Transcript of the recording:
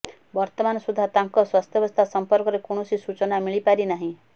ବର୍ତ୍ତମାନ ସୁଦ୍ଧା ତାଙ୍କ ସ୍ବାସ୍ଥ୍ୟାବସ୍ଥା ସଂପର୍କରେ କୌଣସି ସୂଚନା ମିଳି ପାରି ନାହିଁ